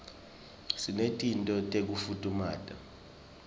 sinetinto tekufutfumata